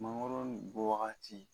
Mangoro nun bɔ wagati